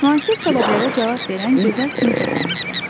Müasir tələblərə cavab verən gözəl sinif otağımız var.